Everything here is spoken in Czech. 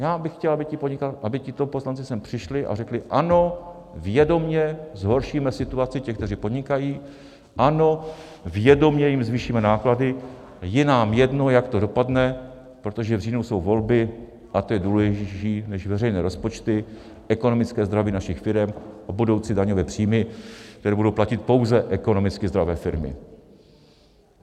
Já bych chtěl, aby tito poslanci sem přišli a řekli: Ano, vědomě zhoršíme situaci těch, kteří podnikají, ano, vědomě jim zvýšíme náklady, je nám jedno, jak to dopadne, protože v říjnu jsou volby a to je důležitější než veřejné rozpočty, ekonomické zdraví našich firem a budoucí daňové příjmy, které budou platit pouze ekonomicky zdravé firmy.